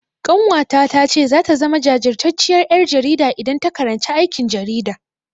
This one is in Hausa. Ƙanwata ta ce zata zama jajirtacciyar ƴar jarida idan ta karanci aikin jarida.